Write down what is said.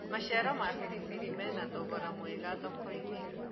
maciaro ma biribiri mena thogora mwega thoko-inĩ